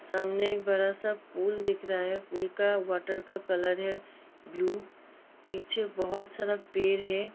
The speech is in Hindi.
सामने एक बड़ा-सा पूल दिख रहा है पूल का वॉटर का कलर है ब्लू पीछे बहुत सारा पेड़ है।